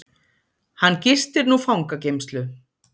Hann gistir nú fangageymslu